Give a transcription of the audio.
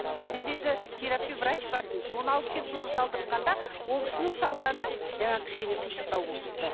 ол кезде енді терапевт врач бар тын соны алып келіп соны салдыртқанда ол кісінің салғаны жаңағы кішкене қисықтау болып бітті